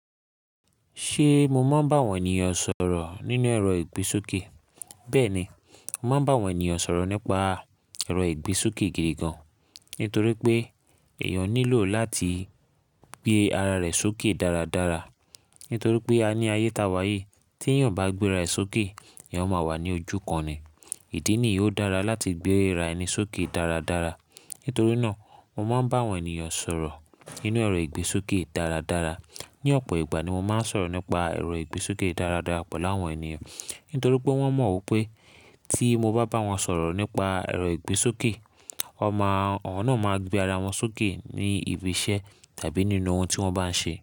Ṣé mo máa ń bá àwọn ènìyàn sọ̀rọ̀ nínú ẹ̀rọ ìgbésókè? Bẹ́ẹ̀ ni, mo máa ń bá àwọn ènìyàn sọ̀rọ̀ nípa ẹ̀rọ ìgbésókè gidi gan, nítorí pé èèyàn nílò láti gbé ara rẹ̀ sókè dáradára. Nítorí pé a ní ayé ta wá yí, tí èèyàn bá gbé ara rẹ̀ sókè eeyan máa wà ní ojú kan ni. Ìdí nìyí ó dára láti gbé ara ẹni sókè dáradára. Nítorí náà mo máa ń bá àwọn ènìyàn sọ̀rọ̀ nínú ẹ̀rọ ìgbésókè dáradára. Ni ọ̀pọ̀ ìgbà ni mo máa ń sọ̀rọ̀ nípa ẹ̀rọ ìgbésókè dáradára pẹ̀lú àwọn ènìyàn. Nítorí pé wọ́n mọ̀ ipé tí mo bá bá wọn sọ̀rọ̀ nípa ẹ̀rọ ìgbésókè, wọ́n máa, awọ́n náà máa gbé ara wọn sókè ní ibi iṣẹ́ tàbí nínú ohun tí wọ́n bá ń ṣe.